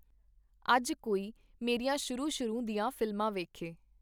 ਅਜ ਕੋਈ ਮੇਰੀਆਂ ਸ਼ੁਰੂ-ਸ਼ੁਰੂ ਦੀਆਂ ਫ਼ਿਲਮਾਂ ਵੇਖੇ.